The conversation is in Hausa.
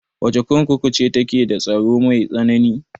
Wace kurkuku ce take da tsaro mai tsanani?